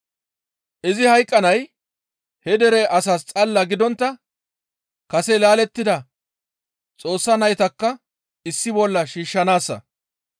Izi hayqqanay he dere asaas xalla gidontta kase laalettida Xoossa naytakka issi bolla shiishshanaassa.